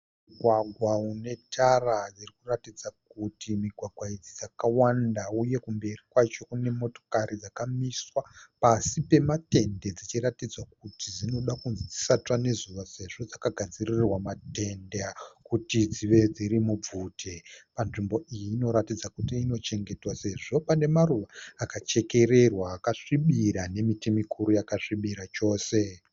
Mugwagwa unetara irikuratidza kuti migwagwa idzi dzakawanda uye kumberi kwacho kunemotokari dzakamiswa pasi pematende dzichiratidza kuti dzinoda kunzi dzisatsva nezuva sezvo dzakagadzirirwa matende kuti dzive dziri mubvute. Panzvimbo iyi inoratidza kuti inochengetwa sezvo pane maruva akachekererwa akasvibira nemiti mikuru yakasvibira chose.